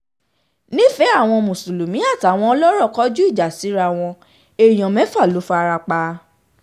nífẹ̀ẹ́ àwọn mùsùlùmí àtàwọn ọlọ́rọ̀ kọjú ìjà síra wọn èèyàn mẹ́fà ló fara pa